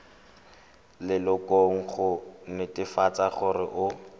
lelokong go netefatsa gore o